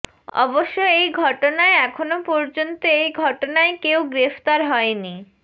অবশ্য় এই ঘটনায় এখনও পর্যন্ত এই ঘটনায় কেউ গ্রেফতার হয়নি